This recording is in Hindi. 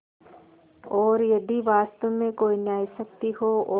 और यदि वास्तव में कोई न्यायशक्ति हो और